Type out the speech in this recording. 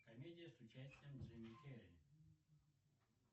комедия с участием джима керри